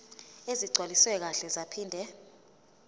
ezigcwaliswe kahle zaphinde